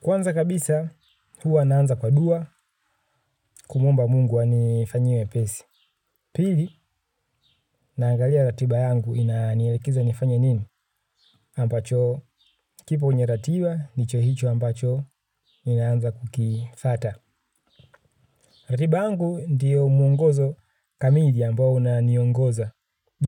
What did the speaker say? Kwanza kabisa, huwa naanza kwa dua kumuomba mungu anifanyie wepesi. Pili, naangalia ratiba yangu inanielekeza nifanye nini. Ampacho, kipo kwenye ratiba, nicho hicho ambacho, ninaanza kukiifata. Ratiba yangu ndiyo muongozo kamili ambao unaniongoza.